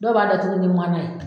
Dɔw b'a datugu ni mana ye.